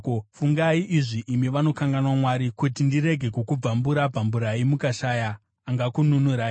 “Fungai izvi, imi vanokanganwa Mwari, kuti ndirege kukubvambura-bvamburai mukashaya angakununurai: